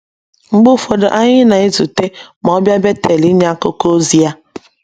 Mgbe ụfọdụ anyị na - ezute ma ọ bịa Betel inye akụkọ ozi ya.